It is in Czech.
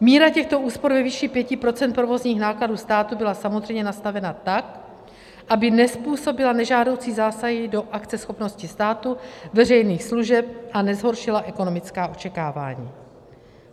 Míra těchto úspor ve výši 5 % provozních nákladů státu byla samozřejmě nastavena tak, aby nezpůsobila nežádoucí zásahy do akceschopnosti státu, veřejných služeb a nezhoršila ekonomická očekávání.